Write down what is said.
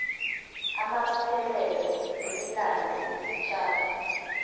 amabuthelelo wemilando yesitjhaba